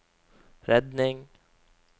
redning